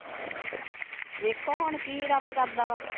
ਵੇਖੋ ਹੁਣ ਕੀ ਰੱਬ ਕਰਦਾ ਵਾ?